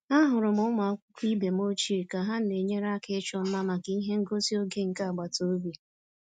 Ahụrụ m ụmụ akwụkwọ ibe m ochie ka ha na-enyere aka ịchọ mma maka ihe ngosi oge nke agbata obi